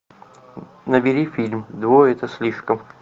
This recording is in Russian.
набери фильм двое это слишком